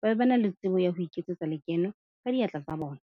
Ba be ba na le tsebo ya ho iketsetsa lekeno ka diatla tsa bona.